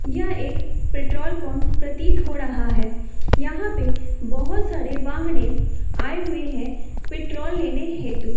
यह एक petrol pump प्रतीत हो रहा है। यहां पे बहोत सारे वाहनें आए हुए हैं पेट्रोल लेने हेतु।